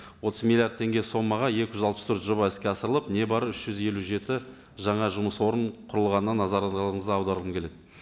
отыз миллиард теңге сомаға екі жүз алпыс төрт жоба іске асырылып не бары үш жүз елу жеті жаңа жұмыс орын құрылғанына назарларыңызды аударғым келеді